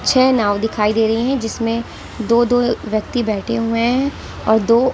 छह नाव दिखाई दे रही हैं जिसमें दो-दो व्यक्ति बैठे हुए हैं और दो--